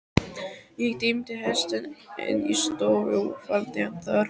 Ég teymdi hestinn inn í stofu og faldi hann þar.